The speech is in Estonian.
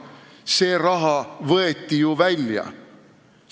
See raha võeti ju välja!